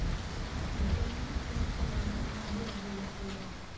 எப்பையுமே sports quota இருந்துச்சுன்னா வந்து ரொம்ப useful தான்.